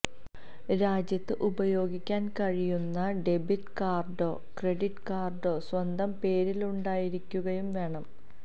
രാജ്യത്ത് ഉപയോഗിക്കാന് കഴിയുന്ന ഡെബിറ്റ് കാര്ഡോ ക്രെഡിറ്റ് കാര്ഡോ സ്വന്തം പേരിലുണ്ടായിരിക്കുകയും വേണം